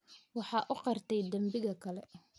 Waxa uu qirtay dambiga kale.